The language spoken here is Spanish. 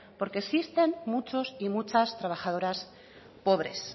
porque existen muchos y muchas trabajadoras pobres